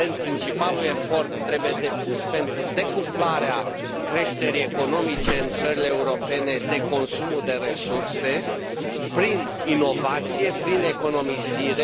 Evident, principalul efort trebuie depus pentru decuplarea creșterii economice în țările europene de consumul de resurse prin inovație, prin economisire.